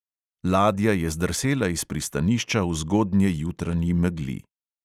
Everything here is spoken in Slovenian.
Ladja je zdrsela iz pristanišča v zgodnjejutranji megli.